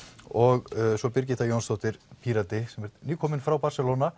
og Birgitta Jónsdóttir Pírati sem er nýkomin frá Barcelona